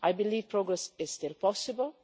I believe progress is still possible.